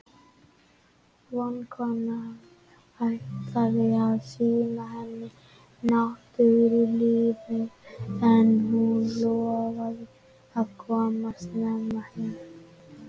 Vinkonan ætlaði að sýna henni næturlífið en hún lofaði að koma snemma heim.